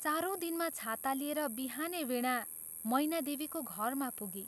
चारौं दिनमा छाता लिएर बिहानै वीणा मैना देवीको घरमा पुगी।